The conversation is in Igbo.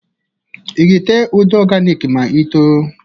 I ga-ete ude ọganik ma i too?